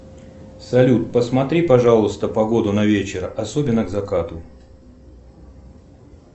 салют посмотри пожалуйста погоду на вечер особенно к закату